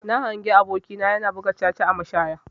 Na hangi aboki na yana buga caca a mashaya.